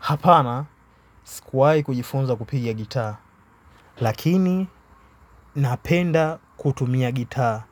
Hapana sikuwahi kujifunza kupigia gitaa lakini napenda kutumia gitaa.